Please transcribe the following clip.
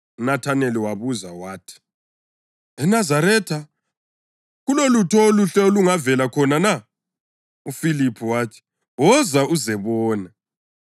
UNathaneli wabuza wathi, “ENazaretha! Kulolutho oluhle olungavela khona na?” UFiliphu wathi, “Woza uzebona.”